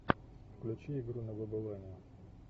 включи игру на выбывание